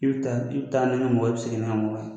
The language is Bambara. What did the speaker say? I bɛ i bɛ taa ni n ka mɔgɔ ye n bɛ segin ni n ka mɔgɔ ye.